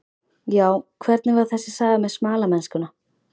Já, hvernig var þessi saga með smalamennskuna?